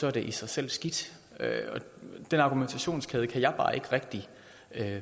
er det i sig selv skidt og den argumentationskæde kan jeg bare ikke rigtig